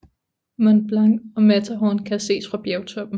Mont Blanc og Matterhorn kan ses fra bjergtoppen